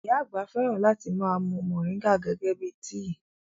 Ìyá àgbà fẹ́ràn láti ma mú moringa gẹ́gẹ́ bíi tíì